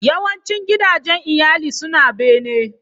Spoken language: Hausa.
Yawancin gidajen iyali suna bene.